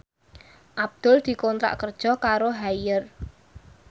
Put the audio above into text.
Abdul dikontrak kerja karo Haier